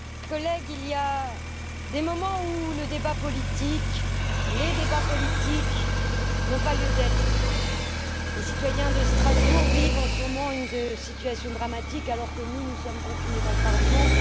Monsieur le Président, chers collègues, il y a des moments où le débat politique, les débats politiques n'ont pas lieu d'être. Les citoyens de Strasbourg vivent en ce moment une situation dramatique alors que nous, nous sommes confinés dans le Parlement.